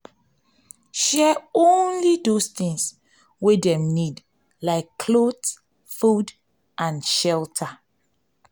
share only those things wey dem need like cloth food and shelter shelter